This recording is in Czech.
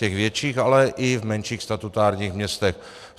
Těch větších, ale i v menších statutárních městech.